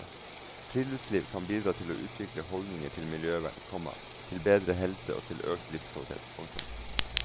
Friluftsliv kan bidra til å utvikle holdninger til miljøvern, komma til bedre helse og til økt livskvalitet. punktum